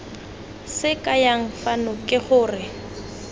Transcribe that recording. se kayang fano ke gore